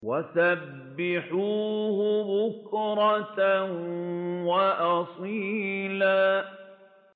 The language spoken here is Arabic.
وَسَبِّحُوهُ بُكْرَةً وَأَصِيلًا